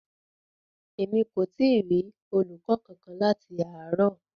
Emi ko ti rí olùkọ kánkan láti àárò.